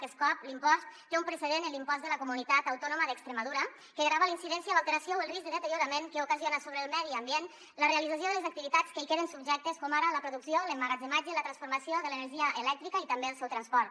aquest cop l’impost té un precedent en l’impost de la comunitat autònoma d’extremadura que grava la incidència l’alteració o el risc de deteriorament que ocasiona sobre el medi ambient la realització de les activitats que hi queden subjectes com ara la producció l’emmagatzematge la transformació de l’energia elèctrica i també el seu transport